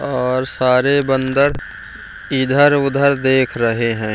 और सारे बंदर इधर-उधर देख रहे हैं।